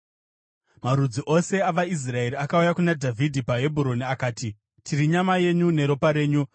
Marudzi ose avaIsraeri akauya kuna Dhavhidhi paHebhuroni akati, “Tiri nyama yenyu neropa renyu.